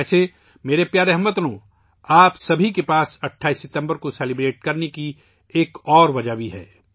ویسے، میرے پیارے ہم وطنو، آپ سب کے پاس 28 ستمبر کو جشن منانے کی ایک اور وجہ بھی ہے